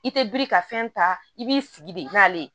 I tɛ giri ka fɛn ta i b'i sigi de n'ale ye